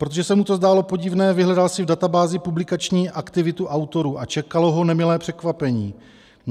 Protože se mu to zdálo podivné, vyhledal si v databázi publikační aktivitu autorů a čekalo ho nemilé překvapení.